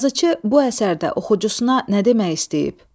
Yazıçı bu əsərdə oxucusuna nə demək istəyib?